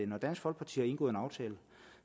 når dansk folkeparti har indgået en aftale